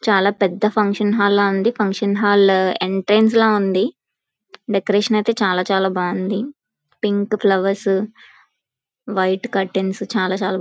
చాలా పెద్ద function hall ల ఉంది. ఫంక్షన్ హాల్ ఎంట్రెన్స్ ల ఉంది. డెకొరేషన్ అయితే చాలా చాలా బాగుంది. పింక్ ఫ్లవర్స్ వైట్ కర్టెన్ చాలా--